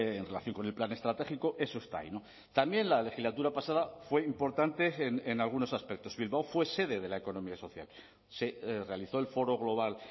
en relación con el plan estratégico eso está ahí también la legislatura pasada fue importante en algunos aspectos bilbao fue sede de la economía social se realizó el foro global